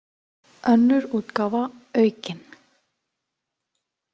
Önnur útgáfa aukin.